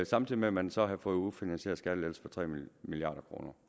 samtidig med at man så havde fået ufinansierede skattelettelser for tre milliard kroner